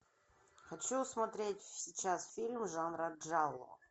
хочу смотреть сейчас фильм жанра джалло